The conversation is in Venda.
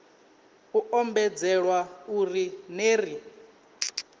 u ombedzelwa uri ner i